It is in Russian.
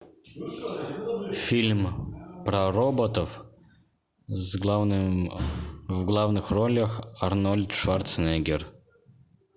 фильм про роботов с главным в главных ролях арнольд шварценеггер